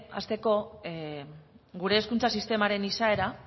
hasteko gure hezkuntza sistemaren izaera